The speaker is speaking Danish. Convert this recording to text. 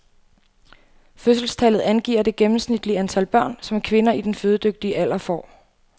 Fødselstallet angiver det gennemsnitlige antal børn, som kvinder i den fødedygtige alder får.